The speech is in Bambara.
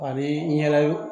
Ani i ɲɛna